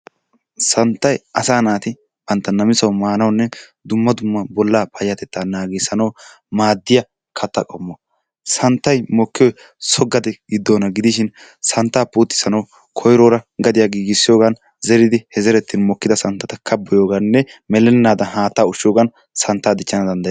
Santtay asaa natti bantta namisawu manawunne dumma dumma bola kifileta payatetta nagisisanawu madiyaa katta qommo, santtay mokiyoy so gade gidonna gidishin, santta putisanawu koyroro gadiyaa gigisiyogan zeridi he zeretay mokidaga santattakka kabiyoganne melenadan hatta ushiyogan santtaa dichanawu dandayettes.